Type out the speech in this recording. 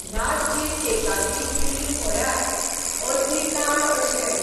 ह्या चीजकेकांतली क्रीम म्हळ्यार अति लाड कशे .